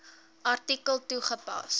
artikel toegepas